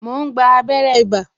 Mo ń gba abere ibà